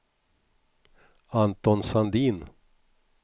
Anton Sandin